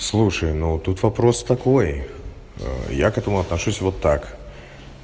слушай но тут вопрос такой я к этому отношусь вот так